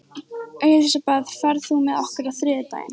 Elisabeth, ferð þú með okkur á þriðjudaginn?